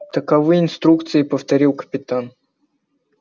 таковы инструкции повторил капитан